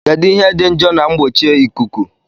Kedu ihe dị njọ na mgbochieikuu?